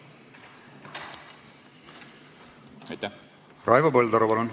Raivo Põldaru, palun!